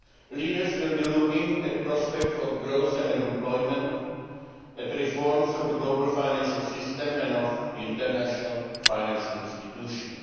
to fail. Leaders will be looking at prospects for growth and employment and at reform of the global financial system and of the international financial institutions.